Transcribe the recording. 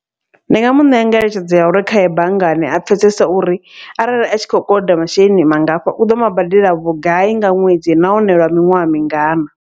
Ndi nga muṋea ngeletshedzo ya uri khaye banngani a pfhesesa uri arali a tshi khou koloda masheleni mangafho, uḓo mabadela vhugai nga ṅwedzi nahone lwa miṅwaha mingana.